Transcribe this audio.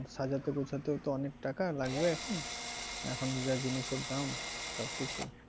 সাজাতে গোছাতেও তো অনেক টাকা লাগবে এখন, এখন যা জিনিসের দাম সবকিছু।